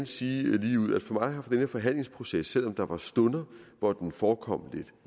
sige ligeud at for mig har denne forhandlingsproces selv om der var stunder hvor den forekom lidt